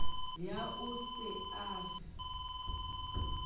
eo o se a re